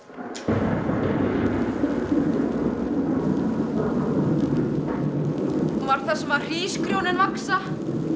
var þar sem hrísgrjónin vaxa